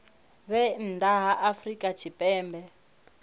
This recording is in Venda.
vhe nnḓa ha afrika tshipembe